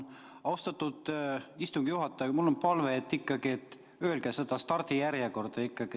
Austatud istungi juhataja, mul on palve, et öelge ka see stardijärjekord.